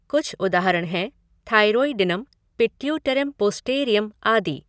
कुछ उदाहरण हैं थाइरोइडिनम, पिट्युटेरम पोस्टेरियम आदि।